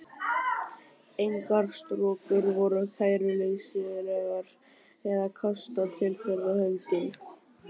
Engar strokur voru kæruleysislegar eða kastað til þeirra höndum.